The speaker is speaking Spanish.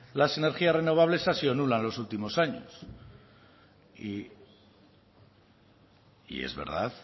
las energías renovables ha sido nula en los últimos años y es verdad